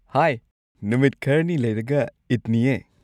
ꯍꯥꯏ, ꯅꯨꯃꯤꯠ ꯈꯔꯅꯤ ꯂꯩꯔꯒ ꯏꯗꯅꯤꯌꯦ꯫